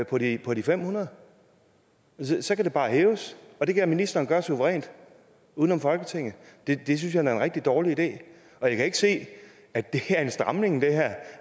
på de på de fem hundrede så kan det bare hæves og det kan ministeren gøre suverænt uden om folketinget det synes jeg da er en rigtig dårlig idé jeg kan ikke se at det her er en stramning